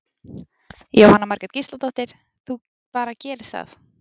Jóhanna Margrét Gísladóttir: Þú bara gerir það?